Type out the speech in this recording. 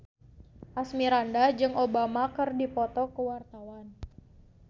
Asmirandah jeung Obama keur dipoto ku wartawan